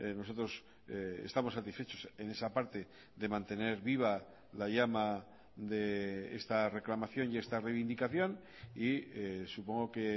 nosotros estamos satisfechos en esa parte de mantener viva la llama de esta reclamación y esta reivindicación y supongo que